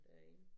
Derinde